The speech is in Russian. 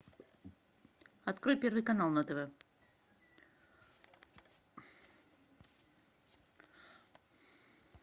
открой первый канал на тв